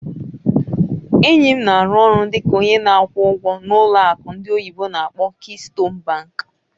Enyi m na-arụ ọrụ dị ka onye na-akwụ ụgwọ n'ụlọ akụ ndị oyibo n'akpọ "Keystone Bank".